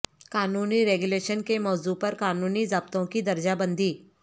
قانونی ریگولیشن کے موضوع پر قانونی ضابطوں کی درجہ بندی